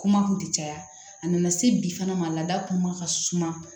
Kuma kun ti caya a nana se bi fana ma laada kun ma ka suma